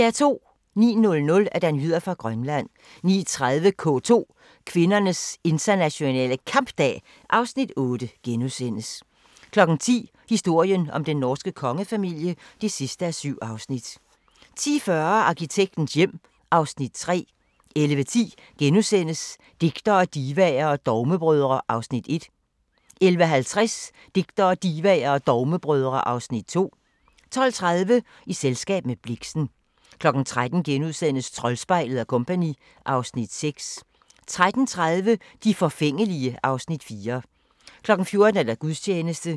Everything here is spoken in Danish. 09:00: Nyheder fra Grønland 09:30: K2: Kvindernes Internationale Kampdag (Afs. 8)* 10:00: Historien om den norske kongefamilie (7:7) 10:40: Arkitektens hjem (Afs. 3) 11:10: Digtere, divaer og dogmebrødre (Afs. 1)* 11:50: Digtere, Divaer og Dogmebrødre (Afs. 2) 12:30: I selskab med Blixen 13:00: Troldspejlet & Co. (Afs. 6)* 13:30: De forfængelige (Afs. 4) 14:00: Gudstjeneste